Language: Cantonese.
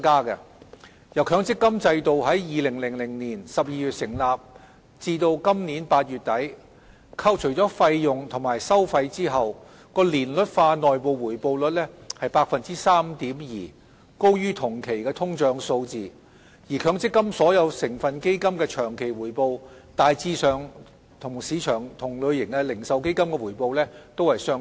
由強積金制度於2000年12月成立至今年8月底，扣除費用及收費後的年率化內部回報率為 3.2%， 高於同期的通脹數字，而強積金所有成分基金的長期回報大致上與市場同類型的零售基金的回報相若。